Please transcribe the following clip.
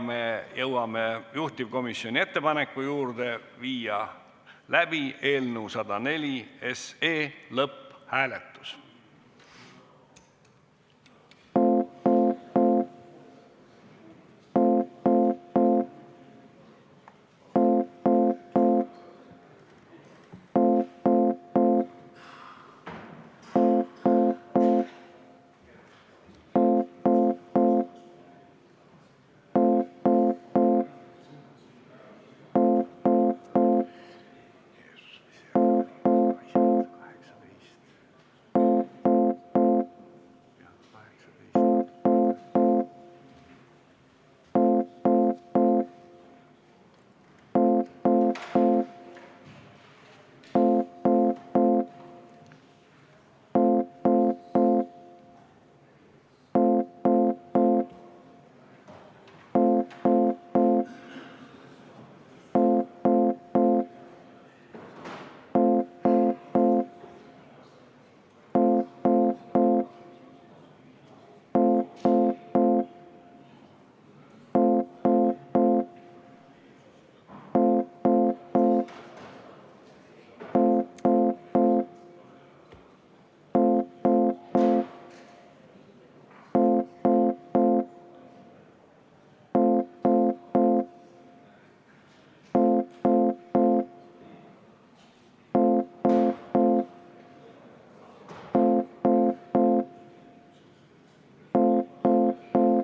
Me jõuame juhtivkomisjoni ettepaneku juurde viia läbi eelnõu 104 lõpphääletus.